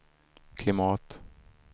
klimat